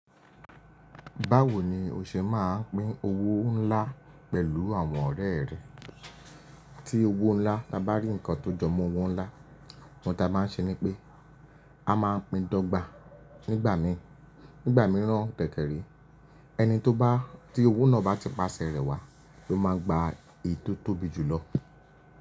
Báwo ni o ṣe máa ń pín owó ńlá pẹ̀lú àwọn ọ̀rẹ́ rẹ? Tí owó ńlá, ta bá rí nǹkan tó jọmọ́ owó ńlá, ohun ta máa ń ṣe ni pé a máa pin dọgba nigba mi Nígbà mìíràn dẹ̀kẹ̀re, ẹni tó bá tí owó náà bá ti pasẹ rẹ̀ wá, lo máa n gba èyí tó tóbi jù lọ.